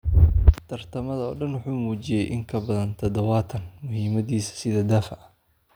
Tartamada oo dhan wuxuu muujiyey in ka badan dadawan muhiimadiisa sida daafac.